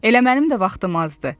Elə mənim də vaxtım azdır.